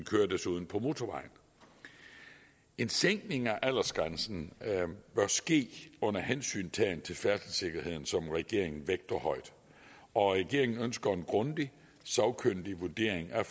kører desuden på motorvejen en sænkning af aldersgrænsen bør ske under hensyntagen til færdselssikkerheden som regeringen vægter højt og regeringen ønsker en grundig sagkyndig vurdering af